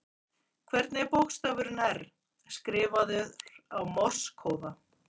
Hvernig er bókstafurin R, skrifaður á morse-kóða?